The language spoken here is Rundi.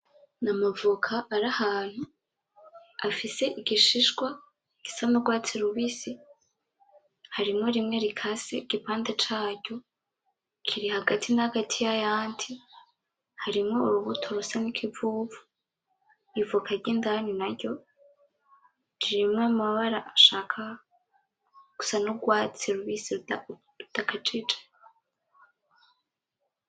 N’amavoka ari ahantu afise igishishwa gisa n’urwatsi rubisi harimwo rimwe rikase igipande caryo kiri hagati na hagati n’ayandi harimwo urubuto rusa n’ikivuvu ivoka ry’indani naryo ririmwo amabara ashaka gusa n’urwatsi rubisi rudakajije.